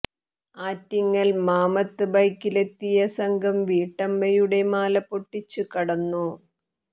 ആറ്റിങ്ങൽ മാമത്ത് ബൈക്കിലെത്തിയ സംഘം വീട്ടമ്മയുടെ മാല പൊട്ടിച്ച് കടന്നു